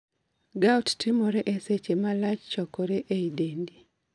Gout timore e seche ma lach chokore e i dendi